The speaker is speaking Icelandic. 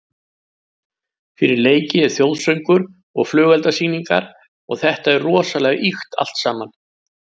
Fyrir leiki er þjóðsöngur og flugeldasýningar og þetta er rosalega ýkt allt saman.